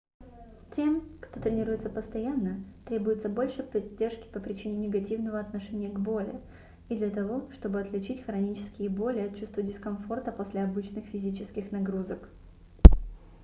тем кто тренируется постоянно требуется больше поддержки по причине негативного отношения к боли и для того чтобы отличить хронические боли от чувства дискомфорта после обычных физических нагрузок